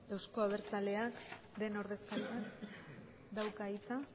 euzko abertzaleak ez du hitzik hartu behar